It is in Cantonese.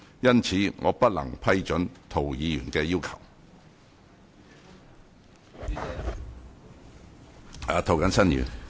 因此，我不能批准涂議員的要求。